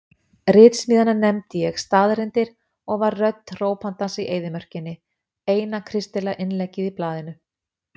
Ritsmíðina nefndi ég Staðreyndir og var rödd hrópandans í eyðimörkinni, eina kristilega innleggið í blaðið.